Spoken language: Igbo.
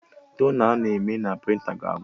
Tona a na-eme na prịnta ga-agwụ